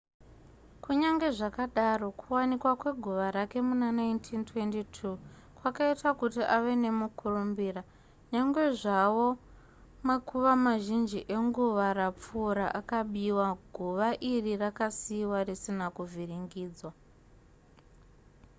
kunyange zvakadaro kuwanikwa kweguva rake muna1922 kwakaita kuti ave nemukurumbira nyangwe zvavo makuva mazhinji enguva rapfuura akabiwa guva iri rakasiiwa risina kuvhiringidzwa